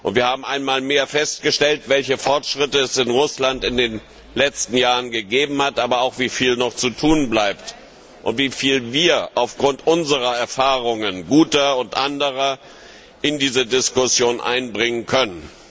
Wir haben einmal mehr festgestellt, welche Fortschritte es in Russland in den letzten Jahren gegeben hat, aber auch wie viel noch zu tun bleibt, und wie viel wir aufgrund unserer Erfahrungen, guter und anderer, in diese Diskussion einbringen können.